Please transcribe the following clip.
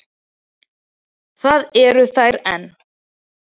Það eru þær enn.